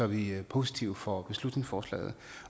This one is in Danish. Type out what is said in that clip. vi positive over for beslutningsforslaget